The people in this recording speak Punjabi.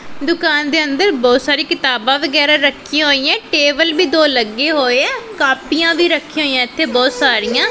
ਦੁਕਾਨ ਦੇ ਅੰਦਰ ਬਹੁਤ ਸਾਰੀ ਕਿਤਾਬਾਂ ਵਗੈਰਾ ਰੱਖਿਆ ਹੋਈਆਂ ਟੇਬਲ ਵੀ ਦੋ ਲੱਗੇ ਹੋਇਆ ਕਾਪਿਆਂ ਵੀ ਰੱਖੀਆਂ ਹੋਈਆਂ ਇੱਥੇ ਬਹੁਤ ਸਾਰੀਆਂ।